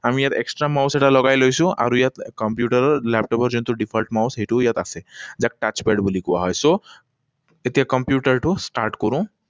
আমি ইয়াত extra mouse এটা লগাই লৈছো আৰু ইয়াত কম্পিউটাৰৰ লেপটপৰ যিটো default mouse সেইটোও ইয়াত আছে। ইয়াক touchpad বুলি কোৱা হয়। So, এতিয়া কম্পিউটাৰটো start কৰোঁ।